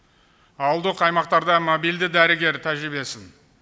ауылдық аймақтарда мобильді дәрігер тәжірибесін